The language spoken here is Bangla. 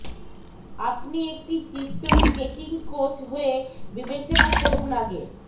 আপনি একটি চিত্র স্কেটিং কোচ হয়ে বিবেচনা করুন আগে